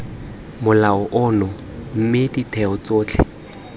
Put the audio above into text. molao ono mme ditheo tsotlhe